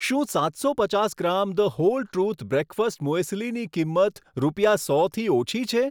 શું સાતસો પચાસ gram The Whole Truth breakfast મુએસ્લીની કિંમત રૂપિયા સોથી ઓછી છે?